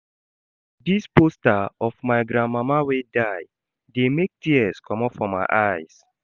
Dis poster of my grandmama wey die dey make tears comot from my eyes.